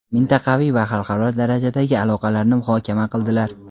mintaqaviy va xalqaro darajadagi aloqalarni muhokama qildilar.